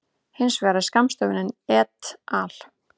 Hins vegar er skammstöfunin et al.